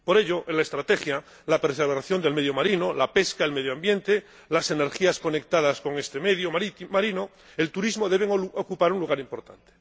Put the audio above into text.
Por ello, en la estrategia, la preservación del medio marino, la pesca, el medio ambiente, las energías conectadas con este medio marino o el turismo deben ocupar un lugar importante.